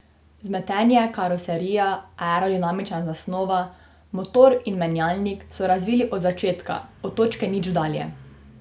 Vzmetenje, karoserija, aerodinamična zasnova, motor in menjalnik so razvili od začetka, od točke nič dalje.